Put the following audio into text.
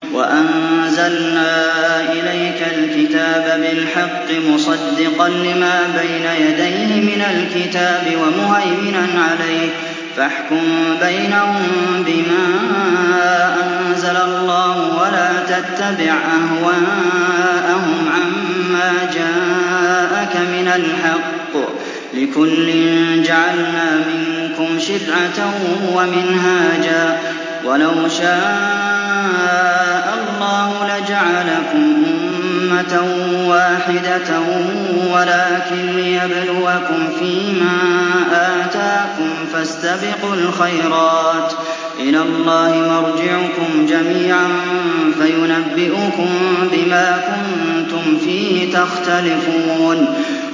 وَأَنزَلْنَا إِلَيْكَ الْكِتَابَ بِالْحَقِّ مُصَدِّقًا لِّمَا بَيْنَ يَدَيْهِ مِنَ الْكِتَابِ وَمُهَيْمِنًا عَلَيْهِ ۖ فَاحْكُم بَيْنَهُم بِمَا أَنزَلَ اللَّهُ ۖ وَلَا تَتَّبِعْ أَهْوَاءَهُمْ عَمَّا جَاءَكَ مِنَ الْحَقِّ ۚ لِكُلٍّ جَعَلْنَا مِنكُمْ شِرْعَةً وَمِنْهَاجًا ۚ وَلَوْ شَاءَ اللَّهُ لَجَعَلَكُمْ أُمَّةً وَاحِدَةً وَلَٰكِن لِّيَبْلُوَكُمْ فِي مَا آتَاكُمْ ۖ فَاسْتَبِقُوا الْخَيْرَاتِ ۚ إِلَى اللَّهِ مَرْجِعُكُمْ جَمِيعًا فَيُنَبِّئُكُم بِمَا كُنتُمْ فِيهِ تَخْتَلِفُونَ